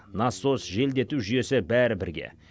насос желдету жүйесі бәрі бірге